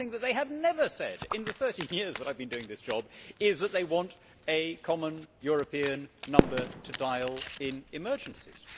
But one thing that they have never said, in the 13 years that I have been doing this job, is that they want a common European number to dial in emergencies.